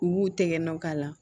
U b'u tɛgɛ nɔ k'a la